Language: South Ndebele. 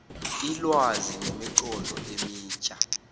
ilwazi nemiqondo emitjha